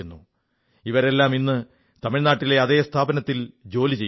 ഇവരെല്ലാം ഇന്ന് തമിഴ്നാട്ടിലെ അതേ സ്ഥാപനത്തിൽ ജോലി ചെയ്യുന്നു